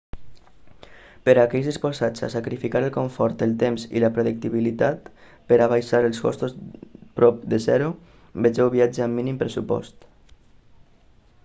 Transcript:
per a aquells disposats a sacrificar el confort el temps i la predictibilitat per a abaixar els costos prop de zero vegeu viatge amb mínim pressupost